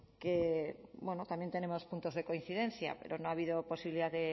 que también tenemos puntos de coincidencia pero no ha habido posibilidad